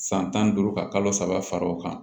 San tan ni duuru ka kalo saba fara o kan